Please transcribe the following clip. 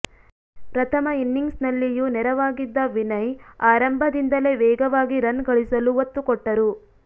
ಪ್ರಥಮ ಇನಿಂಗ್ಸ್ನಲ್ಲಿಯೂ ನೆರವಾಗಿದ್ದ ವಿನಯ್ ಆರಂಭದಿಂದಲೇ ವೇಗವಾಗಿ ರನ್ ಗಳಿಸಲು ಒತ್ತು ಕೊಟ್ಟರು